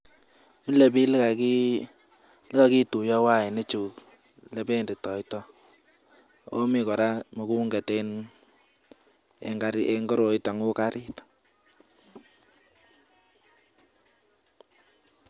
Mile biik ole kakituiyo wainichu, lebenditoitoi akomi kora mugombet eng koroito uu kariit.